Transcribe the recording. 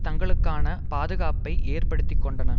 தங்களுக்கான பாதுகாப்பை ஏற்படுத்தி கொண்டன